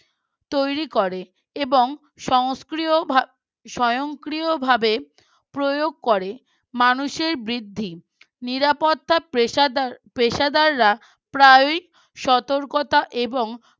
তৈরি করে এবং সন্সক্রিয় স্বয়ংক্রিয়ভাবে প্রয়োগ করে মানুষের বৃদ্ধি নিরাপত্তা পেশাদাররা প্রায়ই সতর্কতা এবং